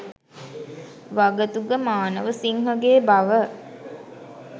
වගතුග මානවසිංහගේ බව